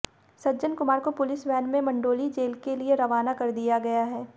सज्जन कुमार को police van में Mandoli jail के लिए रवाना कर दिया गया है